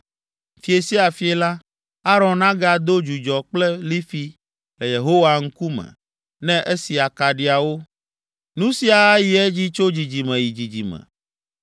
Fiẽ sia fiẽ la, Aron agado dzudzɔ kple lifi le Yehowa ŋkume, ne esi akaɖiawo. Nu sia ayi edzi tso dzidzime yi dzidzime.